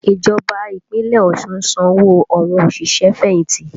Ìjọba Ìpínlẹ̀ Ọ̀ṣun ń san owó àwọn òṣìṣẹ́-fẹ̀yìnti